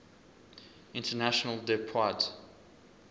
international des poids